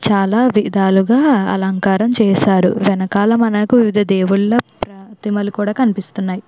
చాలా విధాలుగా అలంకారం చేశారు వెనకాల మనకు వివిధ రకముల దేవుళ్ళ ప్రతిమలు కూడా కనిపిస్తూ ఉన్నాయి.